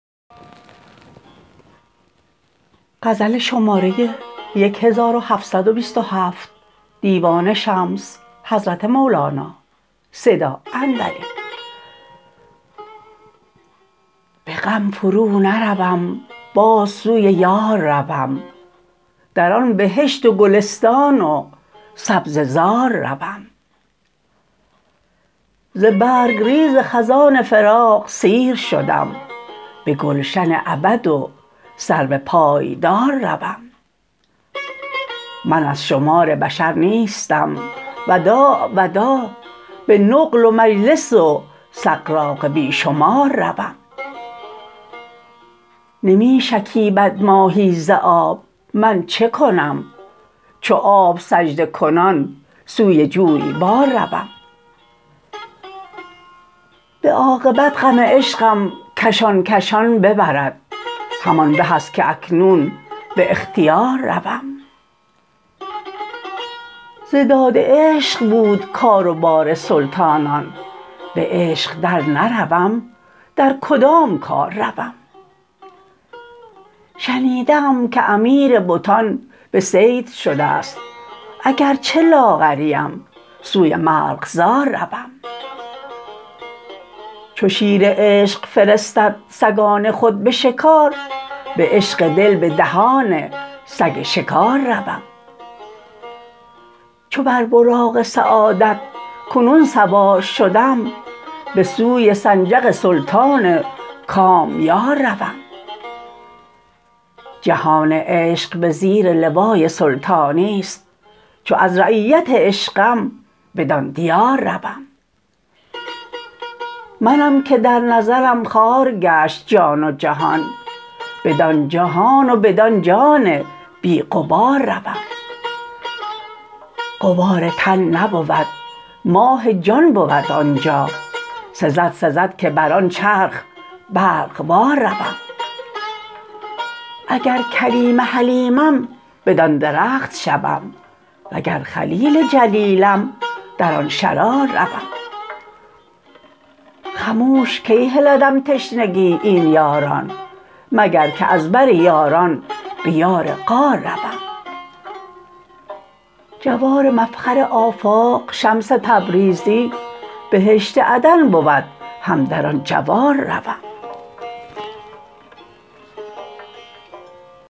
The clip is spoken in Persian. به غم فرونروم باز سوی یار روم در آن بهشت و گلستان و سبزه زار روم ز برگ ریز خزان فراق سیر شدم به گلشن ابد و سرو پایدار روم من از شمار بشر نیستم وداع وداع به نقل و مجلس و سغراق بی شمار روم نمی شکیبد ماهی ز آب من چه کنم چو آب سجده کنان سوی جویبار روم به عاقبت غم عشقم کشان کشان ببرد همان به ست که اکنون به اختیار روم ز داد عشق بود کار و بار سلطانان به عشق درنروم در کدام کار روم شنیده ام که امیر بتان به صید شده ست اگر چه لاغرم سوی مرغزار روم چو شیر عشق فرستد سگان خود به شکار به عشق دل به دهان سگ شکار روم چو بر براق سعادت کنون سوار شدم به سوی سنجق سلطان کامیار روم جهان عشق به زیر لوای سلطانی است چو از رعیت عشقم بدان دیار روم منم که در نظرم خوار گشت جان و جهان بدان جهان و بدان جان بی غبار روم غبار تن نبود ماه جان بود آن جا سزد سزد که بر آن چرخ برق وار روم اگر کلیم حلیمم بدان درخت شوم وگر خلیل جلیلم در آن شرار روم خموش کی هلدم تشنگی این یاران مگر که از بر یاران به یار غار روم جوار مفخر آفاق شمس تبریزی بهشت عدن بود هم در آن جوار روم